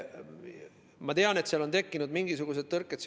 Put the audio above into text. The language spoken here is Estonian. Ma tean, et seal on tekkinud mingisugused tõrked.